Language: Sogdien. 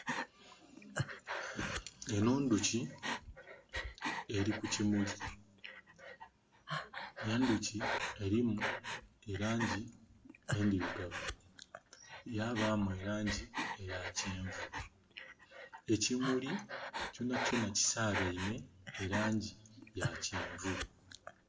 Enho ndhuki eri ku kimuli, endhuki erimu elangi endhirugavu yabamu elangi eya kyenvu. Ekimuli kyonha kyonha kisabeinhe elangi ya kyenvu.